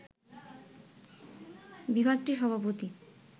বিভাগটির সভাপতি